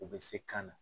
U bɛ se kan na